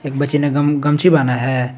एक बच्ची ने गम गमछी बान्हा है।